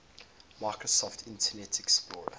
microsoft internet explorer